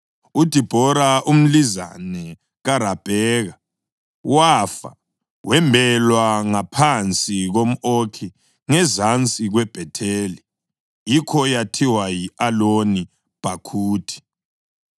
UDibhora, umlizane kaRabheka wafa, wembelwa ngaphansi komʼOkhi ngezansi kweBhetheli. Yikho yathiwa yi-Aloni Bhakhuthi.